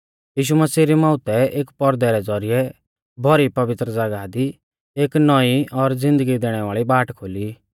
यीशु मसीह री मौउतै एक पौरदै रै ज़ौरिऐ भौरी पवित्र ज़ागाह दी एक नौईं और ज़िन्दगी दैणै वाल़ी बाट खोली